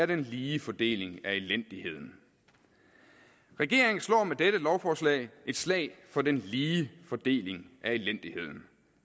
den lige fordeling af elendigheden regeringen slår med dette lovforslag et slag for den lige fordeling af elendigheden